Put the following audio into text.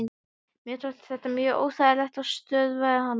Mér þótti þetta mjög óþægilegt og stöðvaði hann.